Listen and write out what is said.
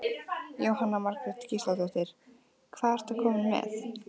Jóhanna Margrét Gísladóttir: Hvað ertu kominn með?